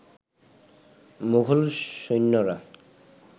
মোগল সৈন্যরা